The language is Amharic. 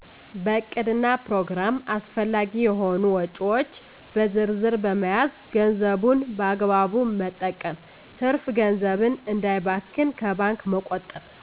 በዕቅድና ፕሮግራም አስፈላጊ የሆኑ ወጭዎች በዝርዝ በመያዝ ገንዘቡን በአግባቡ መጠቀም ትርፍ ገንዘብን እንዳይባክን ከባንክ መቆጠብ